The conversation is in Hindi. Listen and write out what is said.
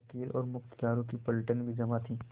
वकीलों और मुख्तारों की पलटन भी जमा थी